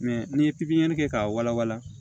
Mɛ n'i ye pipiniyɛri kɛ k'a walawala